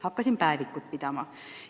Hakkasin päevikut pidama.